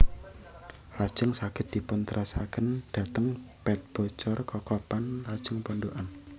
Lajeng saged dipun terasaken dhateng Pet Bocor Kokopan lajeng Pondokan